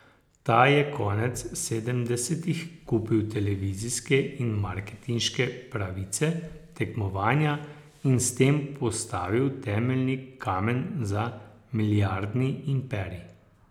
Ta je konec sedemdesetih kupil televizijske in marketinške pravice tekmovanja in s tem postavil temeljni kamen za milijardni imperij.